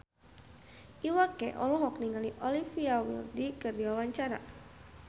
Iwa K olohok ningali Olivia Wilde keur diwawancara